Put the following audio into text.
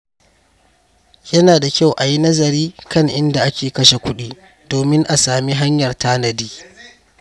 Yana da kyau a yi nazari kan inda ake kashe kuɗi domin a sami hanyar tanadi.